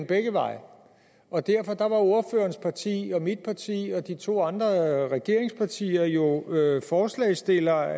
begge veje og derfor var ordførerens parti og mit parti og de to andre regeringspartier jo forslagsstillere